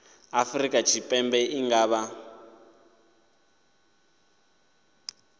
afrika tshipembe i nga vha